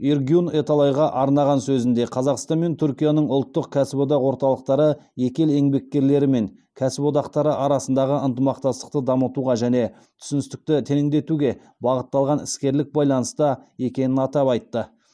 эргюн эталайға арнаған сөзінде қазақстан мен түркияның ұлттық кәсіподақ орталықтары екі ел еңбеккерлері мен кәсіподақтары арасындағы ынтымақтастықты дамытуға және түсіністікті тереңдетуге бағытталған іскерлік байланыста екенін атап айтты